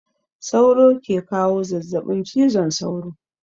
Sauro ke kawo zazzabin cizon sauro.